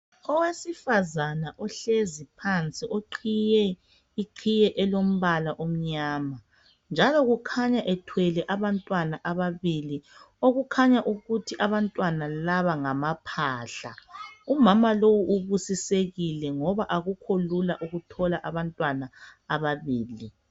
Owesifazana uhlezi phansi uqhiye iqhiye elombala omnyama njalo kukhanya ethwele abantwana ababili okukhanya ukuthi abantwana laba ngamaphahla umama lowu ubusisekile ngoba akukho lula ukuthola abantwana ababili